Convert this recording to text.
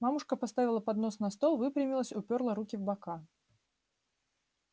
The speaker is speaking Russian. мамушка поставила поднос на стол выпрямилась упёрла руки в бока